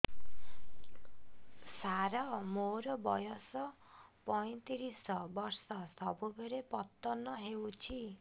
ସାର ମୋର ବୟସ ପୈତିରିଶ ବର୍ଷ ସବୁବେଳେ ପତନ ହେଉଛି